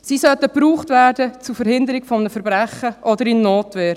Sie sollten zur Verhinderung eines Verbrechens verwendet werden oder in Notwehr.